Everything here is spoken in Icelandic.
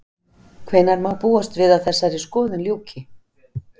Hvenær má búast við að þessari skoðun ljúki?